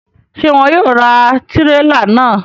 Ṣe wọn yóò ra tirela náà?